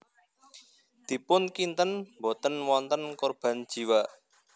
Dipun kinten boten wonten korban jiwa